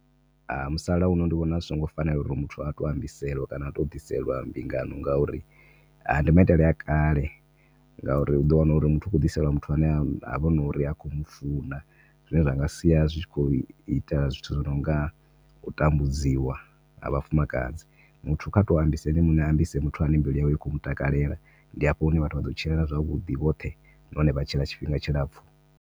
Ha musalauno ndi vhona zwi songo fanela uri muthu a tou ambiselwa kana a tou ḓiselwa mbingano ngauri ndi maitele a kale ngauri u ḓo wana uri muthu u khou ḓiselwa muthu havha nori ha khou mufuna zwine zwa nga sia zwi tshi khou ita zwithu zwi nonga u tambudziwa ha vhafumakadzi muthu kha tou ambisa ene muṋe a ambise muthu ane mbilu yawe i khou mutakalela ndi hafho hune vhathu vhaḓo tshilana zwavhuḓi hoṱhe na hone vha tshila tshifhinga tshilapfu.